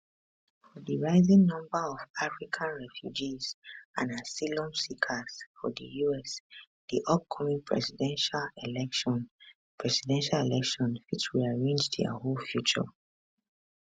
for di rising number of african refugees and asylum seekers for di us di upcoming presidential election presidential election fit rearrange dia whole future